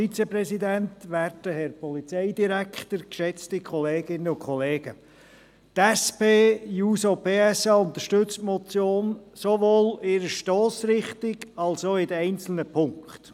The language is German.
Die SP-JUSO-PSA-Fraktion unterstützt die Motion sowohl in ihrer Stossrichtung als auch in den einzelnen Punkten.